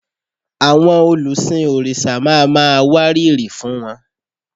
Àwọn olùsìn òrìṣà ma máa wárìrì fún wọn